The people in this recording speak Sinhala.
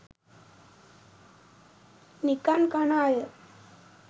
නිකන් කන අය.